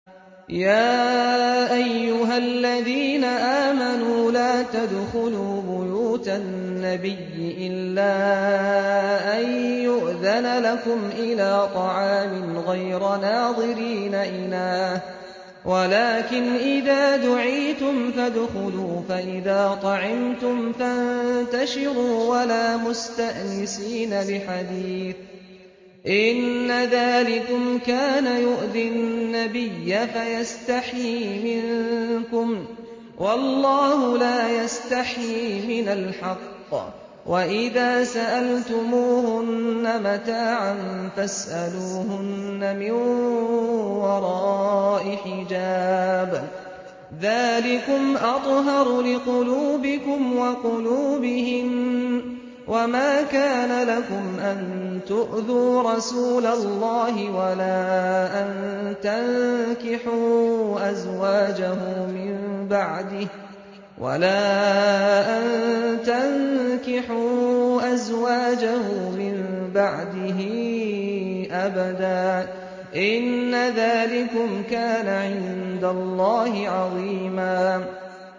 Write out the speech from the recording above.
يَا أَيُّهَا الَّذِينَ آمَنُوا لَا تَدْخُلُوا بُيُوتَ النَّبِيِّ إِلَّا أَن يُؤْذَنَ لَكُمْ إِلَىٰ طَعَامٍ غَيْرَ نَاظِرِينَ إِنَاهُ وَلَٰكِنْ إِذَا دُعِيتُمْ فَادْخُلُوا فَإِذَا طَعِمْتُمْ فَانتَشِرُوا وَلَا مُسْتَأْنِسِينَ لِحَدِيثٍ ۚ إِنَّ ذَٰلِكُمْ كَانَ يُؤْذِي النَّبِيَّ فَيَسْتَحْيِي مِنكُمْ ۖ وَاللَّهُ لَا يَسْتَحْيِي مِنَ الْحَقِّ ۚ وَإِذَا سَأَلْتُمُوهُنَّ مَتَاعًا فَاسْأَلُوهُنَّ مِن وَرَاءِ حِجَابٍ ۚ ذَٰلِكُمْ أَطْهَرُ لِقُلُوبِكُمْ وَقُلُوبِهِنَّ ۚ وَمَا كَانَ لَكُمْ أَن تُؤْذُوا رَسُولَ اللَّهِ وَلَا أَن تَنكِحُوا أَزْوَاجَهُ مِن بَعْدِهِ أَبَدًا ۚ إِنَّ ذَٰلِكُمْ كَانَ عِندَ اللَّهِ عَظِيمًا